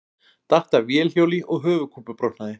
Datt af vélhjóli og höfuðkúpubrotnaði